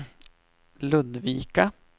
Ludvika